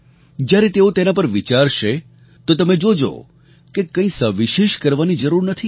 જ્યારે તેઓ તેના પર વિચારશે તો તમે જોજો કે કંઈ સવિશેષ કરવાની જરૂર નથી